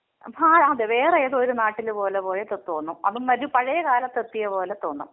ഹാ അതേ. വേറെ ഏതോ ഒരു നാട്ടില് പോലെ പോയൊക്കെ തോന്നും. അതും ഒരു പഴയ കാലത്തെത്തിയ പോലെ തോന്നും.